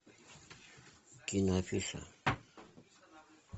киноафиша